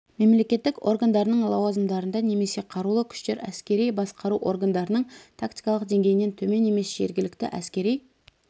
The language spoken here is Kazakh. мемлекеттік органдарының лауазымдарында немесе қарулы күштер әскери басқару органдарының тактикалық деңгейінен төмен емес жергілікті әскери